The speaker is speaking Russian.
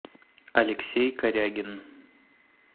алексей корягин